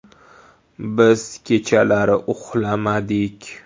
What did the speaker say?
Biz kechalari uxlamadik.